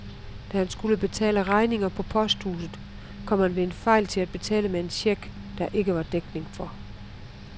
Da han skulle betale regninger på posthuset, kom han ved en fejl til at betale med en check, der ikke var dækning for.